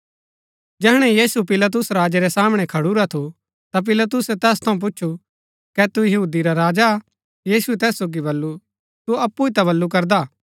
जैहणै यीशु पिलातुस राजा रै सामणै खडुरा थु ता पिलातुसै तैस थऊँ पुछु कै तू यहूदी रा राजा हा यीशुऐ तैस सोगी बल्लू तू अप्पु ही ता बल्लू करदा